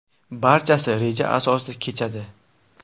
Barchasi reja asosida kechadi.